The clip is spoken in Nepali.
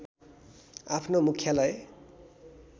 आफ्नो मुख्यालय